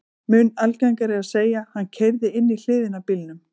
Mun algengara er að segja: Hann keyrði inn í hliðina á bílnum